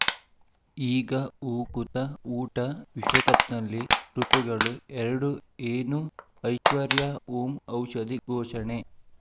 ಈಗ ಊ ಕುತ ಊಟ ವಿಶ್ವಕಪ್‌ನಲ್ಲಿ ಋತುಗಳು ಎರಡು ಏನು ಐಶ್ವರ್ಯಾ ಓಂ ಔಷಧಿ ಘೋಷಣೆ